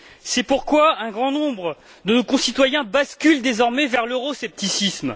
C'est pourquoi un grand nombre de concitoyens basculent désormais vers l'euroscepticisme.